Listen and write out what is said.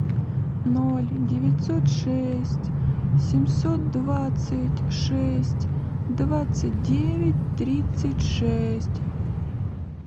ноль девятьсот шесть семьсот двадцать шесть двадцать девять тридцать шесть